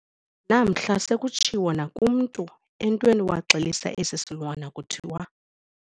Namhla sekutshiwo nakumntu entweni waxelisa esi silwana kuthiwa.